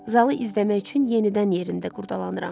Zalı izləmək üçün yenidən yerimdə qurcalanıram.